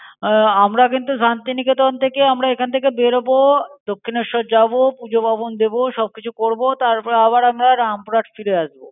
আহ আমরা কিন্তু শান্তিনিকেতন থেকে আমরা এখান থেকে বেরোব, দক্ষিণেশ্বর যাব, পূজা পার্বণ দিব। সবকিছু করব। তারপর আবার আমরা রামপুরহাট ফিরে আসবো।